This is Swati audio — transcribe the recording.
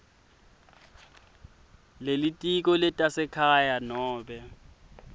lelitiko letasekhaya nobe